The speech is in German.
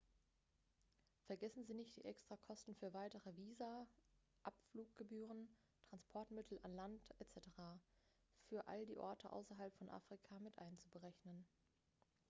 vergessen sie nicht die extrakosten für weitere visa abfluggebühren transportmittel an land etc. für all die orte außerhalb von afrika mit einzuberechnen